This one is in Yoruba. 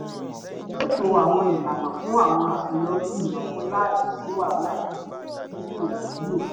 ó ṣètò àwọn ìlànà fún àwọn àṣeyọrí ìnáwó láì sí wàhálà kan tí kò wúlò